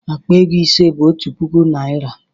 Akpa ego ise bụ otu puku naịra